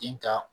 Den ka